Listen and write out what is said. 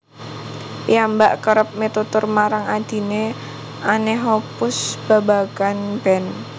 Piyambak kérép mitutur marang adhine Anne Hoppus babagan band